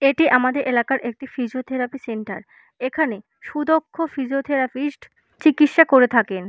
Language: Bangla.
এটি আমাদের এলাকার একটি ফিজিওথেরাপি সেন্টার এখানে সুদক্ষ ফিজিওথেরাপিস্ট চিকিৎসা করে থাকেন।